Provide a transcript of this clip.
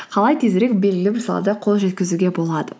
қалай тезірек белгілі бір салада қол жеткізуге болады